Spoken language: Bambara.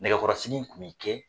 Nɛgɛkɔrɔsigi tun bɛ kɛ